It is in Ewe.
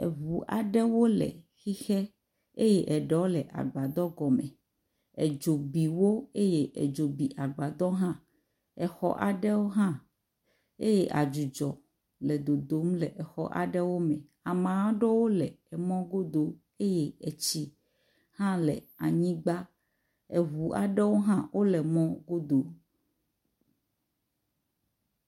Eŋu aɖewo le hixɛ eye eɖo le agbadɔ gɔme, edzo biwo eye edzo bi agbadɔ hã, exɔ aɖo hã eye adzidzɔ le dodom le xɔ aɖewo me, ame aɖo le emɔ godo eye etsi hã le anyigba, eŋu aɖo hã wole mɔ godo